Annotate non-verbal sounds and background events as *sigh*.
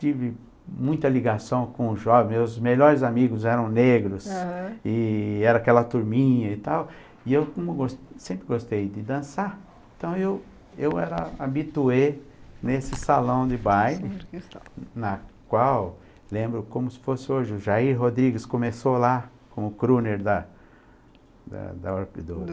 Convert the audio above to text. tive muita ligação com os jovens, meus melhores amigos eram negros, aham, e era aquela turminha e tal, e eu sempre gostei de dançar, então eu era eu habitué nesse salão de baile, na qual, lembro como se fosse hoje, o Jair Rodrigues começou lá, com o Kruner da da da *unintelligible* do